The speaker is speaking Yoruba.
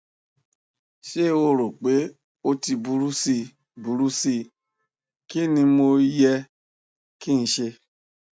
ṣe o ro pe o ti buru si buru si kini mo yẹ ki n ṣe